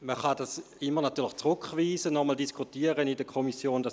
Man kann es immer zurückweisen und nochmals in der Kommission diskutieren.